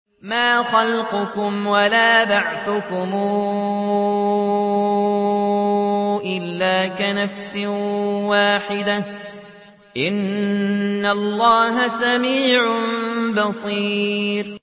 مَّا خَلْقُكُمْ وَلَا بَعْثُكُمْ إِلَّا كَنَفْسٍ وَاحِدَةٍ ۗ إِنَّ اللَّهَ سَمِيعٌ بَصِيرٌ